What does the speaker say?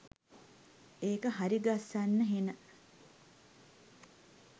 ඒක හරිගස්සන්න හෙන